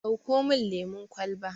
Dauko mun lemun kwalba